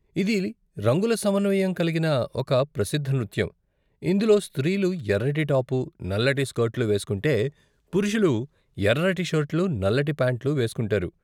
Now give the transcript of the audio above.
ఇది రంగుల సమన్వయం కలిగిన ఒక ప్రసిద్ధ నృత్యం, ఇందులో స్త్రీలు ఎర్రటి టాపు, నల్లటి స్కర్ట్లు వేస్కుంటే, పురుషులు ఎర్రటి షర్ట్లు, నల్లటి ప్యాంట్లు వేసుకుంటారు.